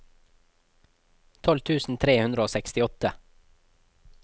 tolv tusen tre hundre og sekstiåtte